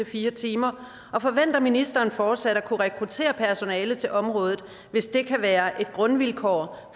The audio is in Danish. fire timer og forventer ministeren fortsat at kunne rekruttere personale til området hvis dette kan være et grundvilkår